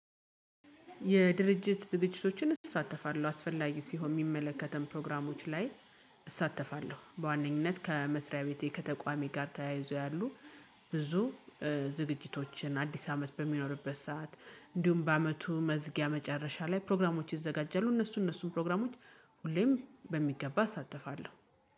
የድርጅት ዝግጅቶችን እሳተፋለሁ አስፈላጊ ሲሆን የሚመለከትን ፕሮግራሞች ላይ እሳተፋለሁ። በዋነኝነት ከመስሪያ ቤቴ ከተቋሜ ጋር ተያይዞ ያሉ ብዙ ዝግጅቶችን አዲስ አመት በሚኖርበት ሰዓት እንዲሁም በአመቱ መዝጊያ መጨረሻ ላይ ፕሮግራሞች ይዘጋጃሉ። እነሱ እነሱን ፕሮግራሞች ሁሌም በሚገባ እሳተፋለሁ